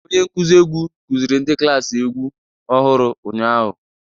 Onye nkuzi egwu kuziri ndi klaasị egwu ọhụrụ ụnyahụ.